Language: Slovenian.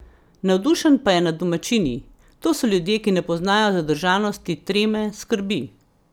Navdušen pa je nad domačini: "To so ljudje, ki ne poznajo zadržanosti, treme, skrbi ...